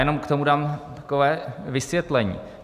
Jenom k tomu dám takové vysvětlení.